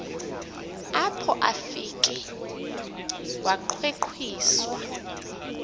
apho afike wangqengqiswa